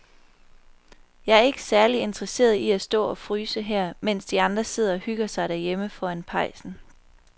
Jeg er ikke særlig interesseret i at stå og fryse her, mens de andre sidder og hygger sig derhjemme foran pejsen.